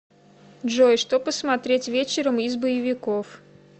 джой что посмотреть вечером из боевиков